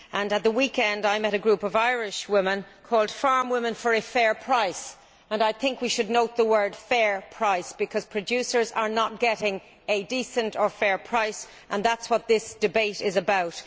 At the weekend I met a group of Irishwomen called Farm Women for a Fair Price' and I think we should note the words fair price' because producers are not getting a decent or fair price and that is what this debate is about.